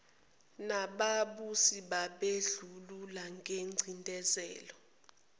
nababusi bobandlululo nengcindezelo